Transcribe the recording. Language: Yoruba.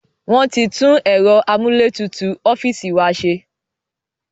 Wọn tí tún ẹ̀rọ amúlétutù ọ́fíìsì wa ṣe